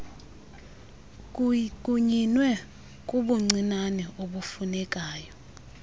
kunyinwe kubuncinane ubufunekayo